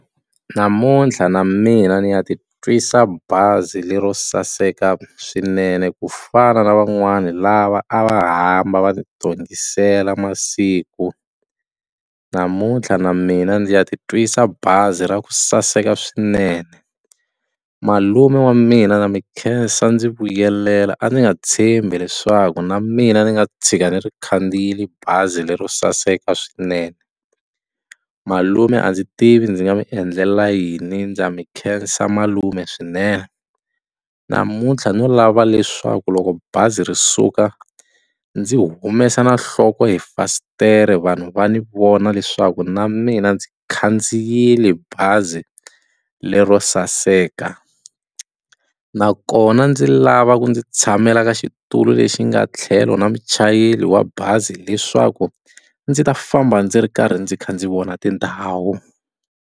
Namuntlha na mina ni ya titwisa bazi lero saseka swinene ku fana na van'wani lava a va hamba va ti tongisela masiku namuntlha na mina ndzi ya titwisa bazi ra ku saseka swinene malume wa mina na mi khensa ndzi vuyelela a ni nga tshembi leswaku na mina ni nga tshika ni ri khandziyile bazi lero saseka swinene malume a ndzi tivi ndzi nga mi endlela yini ndza mi khensa malume swinene namuntlha no lava leswaku loko bazi ri suka ndzi humesa na nhloko hi fasitere vanhu va ni vona leswaku na mina ndzi khandziyile bazi lero saseka nakona ndzi lava ku ndzi tshamela ka xitulu lexi nga tlhelo na muchayeri wa bazi leswaku ndzi ta famba ndzi ri karhi ndzi kha ndzi vona tindhawu.